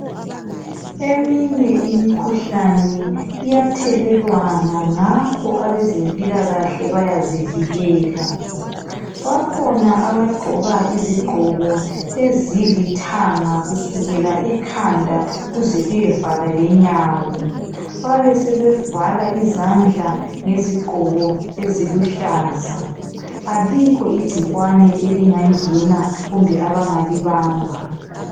Eminye imikhuhlane iyathelelwana ngakho abezempilakahle bayazivikela, bakhona abagqoka izigqoko ezilithanga kusukela ekhanda kuze kuyevala lenyawo, babesebevala izandla ngezigqoko eziluhlaza. Alikho igcikwane elingangena kumbe abangalibamba.